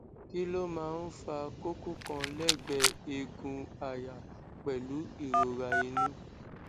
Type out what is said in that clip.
kí ló máa ń fa koko kan legbe egun aya pelu irora inu